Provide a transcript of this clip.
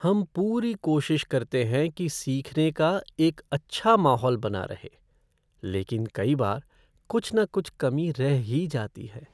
हम पूरी कोशिश करते हैं कि सीखने का एक अच्छा माहौल बना रहे, लेकिन कई बार कुछ न कुछ कमी रह ही जाती है।